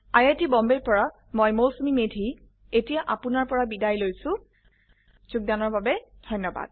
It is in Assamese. আই আই টী বম্বে ৰ পৰা মই মৌচুমী মেধী এতিয়া আপুনাৰ পৰা বিদায় লৈছো যোগদানৰ বাবে ধন্যবাদ